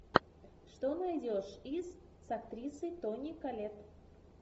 что найдешь из с актрисой тони коллетт